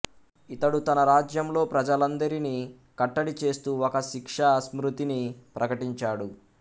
ఇతడు తన రాజ్యంలో ప్రజలందరినీ కట్టడి చేస్తూ ఒక శిక్షా స్మృతిని ప్రకటించాడు